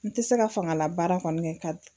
N tɛ se ka fangala baara kɔni kɛ ka